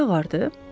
Rəngi ağardı?